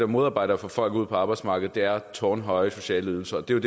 modarbejder at få folk ud på arbejdsmarkedet er tårnhøje sociale ydelser det er